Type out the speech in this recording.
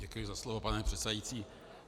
Děkuji za slovo, pane předsedající.